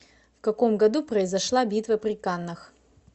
в каком году произошла битва при каннах